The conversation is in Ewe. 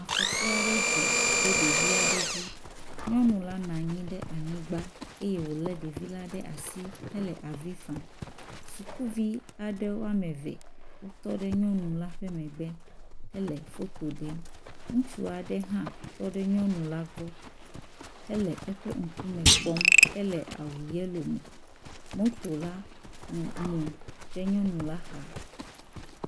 Afɔku aɖe dzɔ ɖe ɖevi aɖe dzi. Nyɔnu la nɔ anyi ɖe anyigba eye wòlé ɖevi la ɖe asi hele avi fam. Sukuvi aɖe woameve wotɔ ɖe nyɔnu la ƒe megbe hele foto ɖem. Ŋutsu aɖe hã tɔ ɖe nyɔnu la gbɔ hele eƒe ŋkume kpɔm, ele awu yelo me. Moto la mu ɖe nyɔnu la xa.